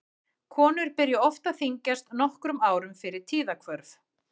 Konur byrja oft að þyngjast nokkrum árum fyrir tíðahvörf.